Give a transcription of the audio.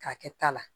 K'a kɛ ta la